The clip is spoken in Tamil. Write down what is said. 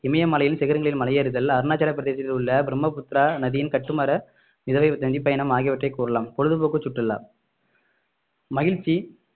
இமயமலையில் சிகரங்களில் மலை ஏறுதல்அருணாச்சல பிரதேசத்தில் உள்ள பிரம்மபுத்திரா நதியின் கட்டுமர விதவை நதிபயணம் ஆகியவற்றை கூறலாம் பொழுதுபோக்கு சுற்றுலா மகிழ்ச்சி